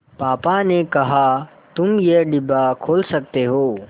पापा ने कहा तुम ये डिब्बा खोल सकते हो